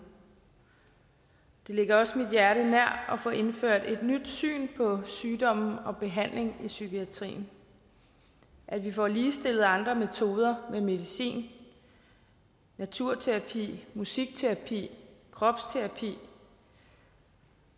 det ligger også mit hjerte nær at få indført et nyt syn på sygdomme og behandling i psykiatrien at vi får ligestillet andre metoder med medicin naturterapi musikterapi kropsterapi